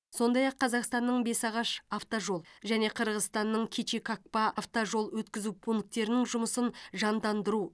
сондай ақ қазақстанның бесағаш автожол және қырғызстанның кичи капка автожол өткізу пункттерінің жұмысын жандандыру